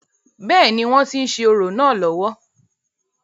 bẹ́ẹ̀ni, wọ́n tí ń ṣe orò náà lọ́wọ́